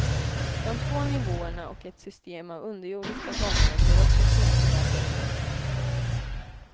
De två nivåerna och ett system av underjordiska gångar blir också knepiga att rå på.